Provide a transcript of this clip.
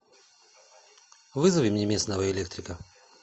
вызови мне местного электрика